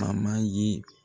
An man ye